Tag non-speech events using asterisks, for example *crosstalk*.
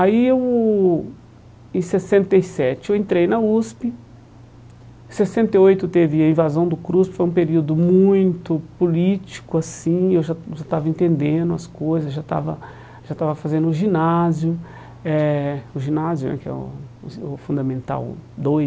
Aí eu em sessenta e sete eu entrei na USP, em sessenta e oito teve a invasão do, *unintelligible* foi um período muito político assim, eu já já estava entendendo as coisas, já estava já estava fazendo o ginásio eh, o ginásio eh que é o *unintelligible* o Fundamental dois.